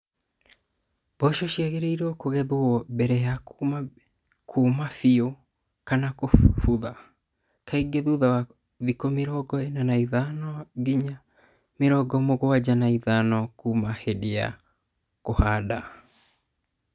Mboco ciagĩrĩrie kũgethwo mbere ya kuuma bio kana kũbutha, kaingĩ thutha wa thikũ mĩrongo ĩna na ithano nginya mĩrongo mũgwanja na ithano kuuma hĩndĩ ya kũhanda.